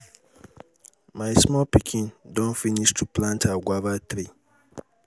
my small pikin don finish to plant her guava tree.